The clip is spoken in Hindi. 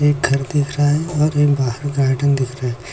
एक घर दिख रहा है और एक बाहर गार्डन दिख रहा है। --